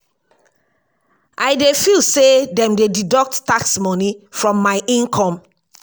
i dey feel say dem dey deduct tax money from my income